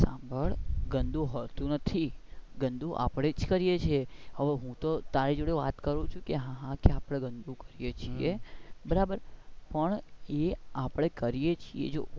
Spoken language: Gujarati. મારી વાત સંભાળ ગંદુ હોતું નથી ગંદુ આપડે જ કરીયે છીએ હવે હું તું તારી જોડે વાત કરું છું કે હા ગંદુ આપડે કરીયે છીએ બરાબર પણ એ આપડે કરીયે છીએ.